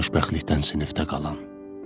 Xoşbəxtlikdən sinifdə qalan.